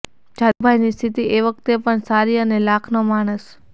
જાદવ ભાઈની સ્થિતિ એ વખતે પણ સારી અને લાખનો માણસ